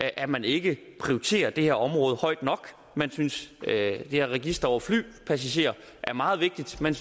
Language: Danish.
at man ikke prioriterer det her område højt nok man synes det her register over flypassagerer er meget vigtigt men